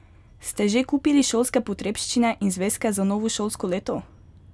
Ste že kupili šolske potrebščine in zvezke za novo šolsko leto?